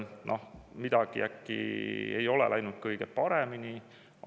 Noh, midagi äkki ei ole läinud kõige paremini?